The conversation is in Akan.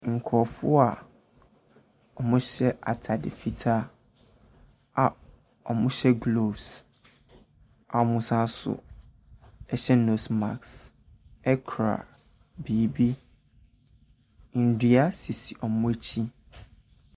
Nkurɔfoɔ a wɔahyɛ atsde fitaa a wɔhyɛ gloves a wɔsane nso hyɛ nose mask kura biribi. Nnua sisi wɔn akyi.